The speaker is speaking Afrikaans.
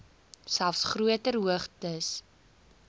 selfs groter hoogtes